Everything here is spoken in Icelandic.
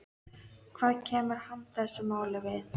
Hvað kemur hann þessu máli við?